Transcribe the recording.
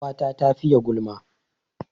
Ƙawata ta fiye gulma